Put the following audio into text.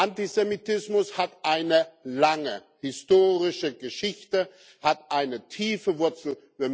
Antisemitismus hat eine lange historische Geschichte, hat eine tiefe Wurzel.